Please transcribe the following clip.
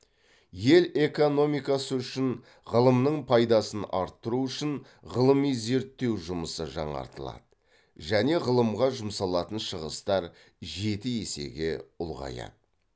ел экономикасы үшін ғылымның пайдасын арттыру үшін ғылыми зерттеу жұмысы жаңартылады және ғылымға жұмсалатын шығыстар жеті есеге ұлғаяды